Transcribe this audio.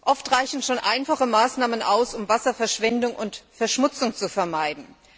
Oft reichen schon einfache Maßnahmen aus, um Wasserverschwendung und verschmutzung zu vermeiden.